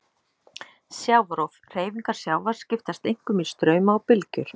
Sjávarrof: Hreyfingar sjávar skiptast einkum í strauma og bylgjur.